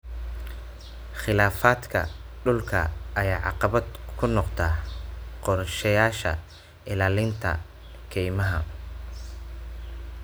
Khilaafaadka dhulka ayaa caqabad ku noqda qorshayaasha ilaalinta keymaha.